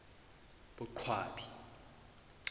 boqwabi